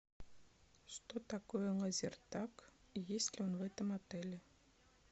что такое лазертаг и есть ли он в этом отеле